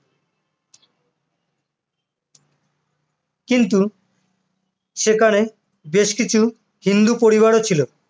কিন্তু সেখানে বেশ কিছু হিন্দু পরিবারও ছিল,